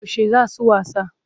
Yaushe za su wasa?